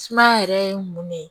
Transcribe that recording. Sumaya yɛrɛ ye mun ne ye